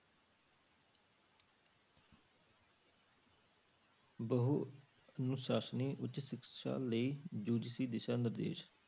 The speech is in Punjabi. ਬਹੁ ਅਨੁਸਾਸਨੀ ਉੱਚ ਸਿੱਖਿਆ ਲਈ UGC ਦਿਸ਼ਾ ਨਿਰਦੇਸ਼।